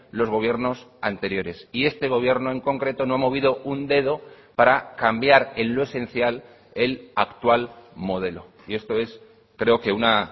los gobiernos anteriores y este gobierno en concreto no ha movido un dedo para cambiar en lo esencial el actual modelo y esto es creo que una